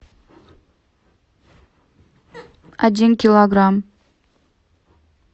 один килограмм